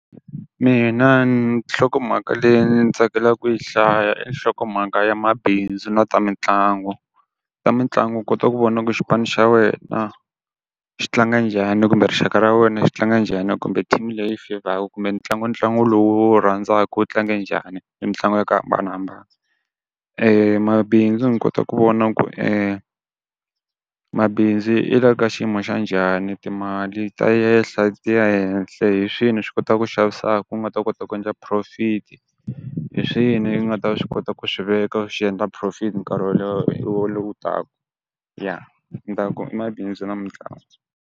Mina nhlokomhaka leyi ni tsakelaka ku yi hlaya i nhlokomhaka ya mabindzu na ta mitlangu, ta mitlangu u kota ku vona ku xipano xa wena, xi tlanga njhani kumbe rixaka ra wena xi tlanga njhani kumbe team leyi fevhaku kumbe ntlangu ntlangu lowu u wu rhandzaka wu tlange njhani i mitlangu ya ku hambanahambana, mabindzu ni kota ku vona ku mabindzu yi la ka xiyimo xa njhani, timali ta yehla ti ya henhle hi swi kotaku xavisaku u nga ta kota ku endla profit-i. Hi swini yi nga ta swi kota ku swiveka xi endla profit nkarhi lowu taka, ya ni taku i mabindzu na mitlangu.